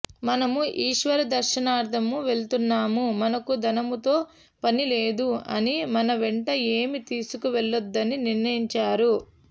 మనము ఈశ్వర దర్శనార్ధము వెళ్తున్నాము మనకు ధనముతో పనిలేదు అని మన వెంట ఏమీ తీసుకు వెళ్ళద్దని నిర్ణయించారు